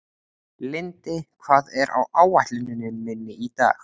Lindi, hvað er á áætluninni minni í dag?